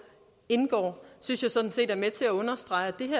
indgår synes jeg sådan set er med til at understrege